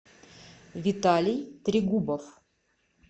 виталий тригубов